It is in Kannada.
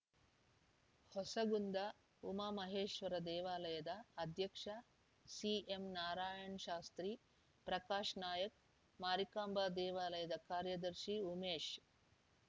ಹೂಸಗುಂದ ಉಮಮಹೇಶ್ವರ ದೇವಾಲಯದ ಅಧ್ಯಕ್ಷ ಸಿಎಂ ನಾರಾಯಣ್‌ ಶಾಸ್ತ್ರೀ ಪ್ರಕಾಶ್‌ ನಾಯಕ್‌ ಮಾರಿಕಾಂಬಾ ದೇವಾಲಯದ ಕಾರ್ಯದರ್ಶಿ ಉಮೇಶ್‌